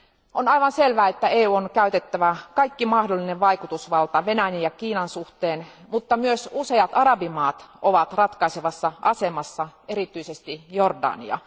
On aivan selvää, että EUn on käytettävä kaikki mahdollinen vaikutusvalta Venäjän ja Kiinan suhteen, mutta myös useat arabimaat ovat ratkaisevassa asemassa, erityisesti Jordania.